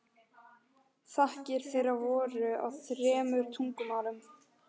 Þakkir þeirra voru á þremur tungumálum.